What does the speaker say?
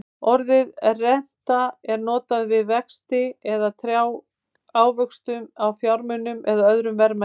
Orðið renta er notað um vexti eða ávöxtun á fjármunum eða öðrum verðmætum.